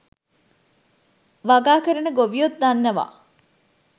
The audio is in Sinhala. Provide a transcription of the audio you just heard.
වගා කරන ගොවියොත් දන්නවා.